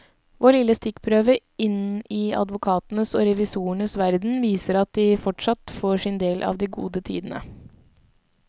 Vår lille stikkprøve inn i advokatenes og revisorenes verden viser at de fortsatt får sin del av de gode tidene.